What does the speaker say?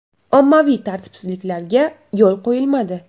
Ommaviy tartibsizliklarga yo‘l qo‘yilmadi.